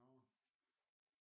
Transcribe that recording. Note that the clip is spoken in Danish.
Nå